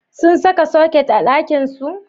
Sun saka soket a ɗakinsu?